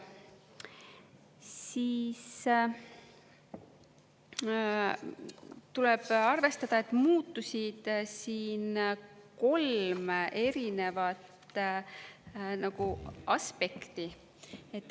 Tuleb arvestada, et muutusid siin kolm erinevat aspekti.